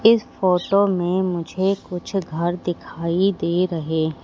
इस फोटो में मुझे कुछ घर दिखाई दे रहे--